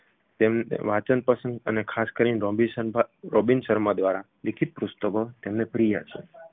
તેમને વાચન પસંદ અને ખાસ કરીને રોબિત શર્મા રોબિન શર્મા દ્વારા લિખિત પુસ્તકો તેમને પ્રિય છે